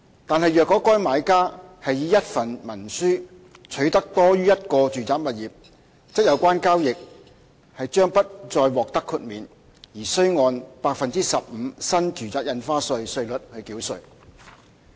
但是，若該買家是以一份文書取得多於一個住宅物業，則有關交易將不再獲得豁免，而須按 15% 新住宅印花稅稅率繳稅。